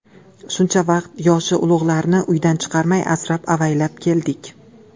Shuncha vaqt yoshi ulug‘larni uydan chiqarmay, asrab-avaylab keldik.